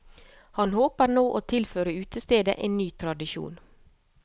Han håper nå å tilføre utestedet en ny tradisjon.